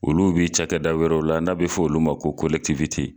Olu b'i cakɛda wɛrɛw la n'a be fɔ olu ma ko kolɛkitiwite